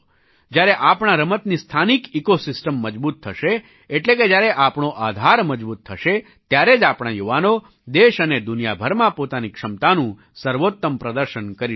જ્યારે આપણા રમતની સ્થાનિક ઇકો સિસ્ટમ મજબૂત થશે એટલે કે જ્યારે આપણો આધાર મજબૂત થશે ત્યારે જ આપણા યુવાનો દેશ અને દુનિયા ભરમાં પોતાની ક્ષમતાનું સર્વોત્તમ પ્રદર્શન કરી શકશે